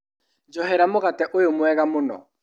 Njohera mũgate ũyũ mwega mũno.